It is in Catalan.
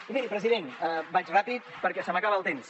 i miri president vaig ràpid perquè se m’acaba el temps